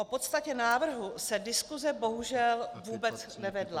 O podstatě návrhu se diskuse bohužel vůbec nevedla.